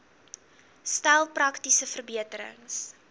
stel praktiese verbeterings